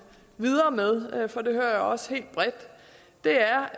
videre med for det hører jeg også helt bredt er